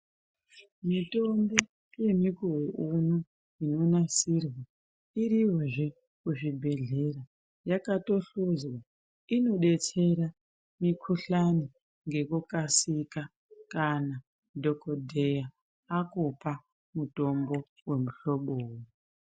Mitombo yemukuwo uno inonasirwa iriyozve kuzvibhedhleya, yakatosvuzwa inodetsera mikohlani ngekukasika kana dhokodheya akupa mutombo womuhloboi.